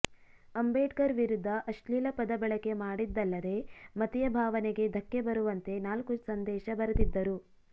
ಅಂಬೇಡ್ಕರ್ ವಿರುದ್ಧ ಅಶ್ಲೀಲ ಪದ ಬಳಕೆ ಮಾಡಿದ್ದಲ್ಲದೇ ಮತೀಯ ಭಾವನೆಗೆ ಧಕ್ಕೆ ಬರುವಂತೆ ನಾಲ್ಕು ಸಂದೇಶ ಬರೆದಿದ್ದರು